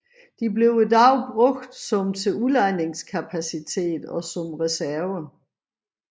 De bruges i dag som til udlejningskapacitet og som reserve